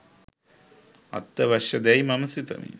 අත්‍යවශ්‍ය දැයි මම සිතමි